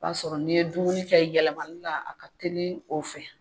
O b'a sɔrɔ n'i ye dumuni kɛ yɛlɛmali la a ka teli o fɛ.